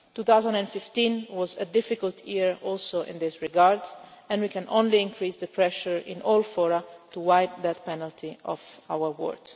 2015 was a difficult year also in this regard and we can only increase the pressure in all fora to wipe the death penalty off our world.